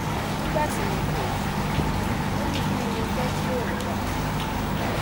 nígbà tí mo kó o fún un ò ní kín ni mo fẹ kí òun rà